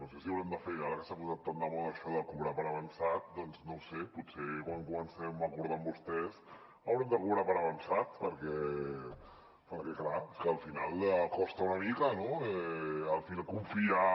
no sé si haurem de fer ara que s’ha posat tant de moda això de cobrar per avançat doncs no ho sé potser quan comencem a acordar amb vostès haurem de cobrar per avançat perquè clar és que al final costa una mica no confiar